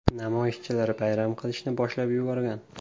Namoyishchilar bayram qilishni boshlab yuborgan.